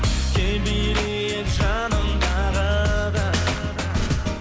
кел билейік жаным тағы да